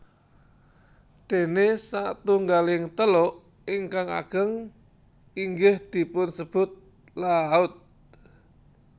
Déné satunggaling teluk ingkang ageng inggih dipunsebut laut